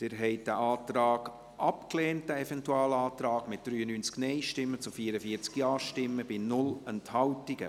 Sie haben diesen Eventualantrag abgelehnt, mit 44 Ja- gegen 93 Nein-Stimmen bei 0 Enthaltungen.